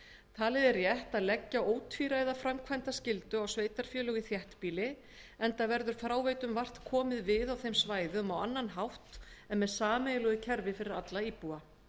talið er rétt að leggja ótvíræða framkvæmdarskyldu á sveitarfélög í þéttbýli enda verður fráveitum vart komið við á þeim svæðum á annan hátt en með sameiginlegu kerfi fyrir alla íbúa